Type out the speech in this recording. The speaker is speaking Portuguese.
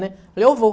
né. Eu vou.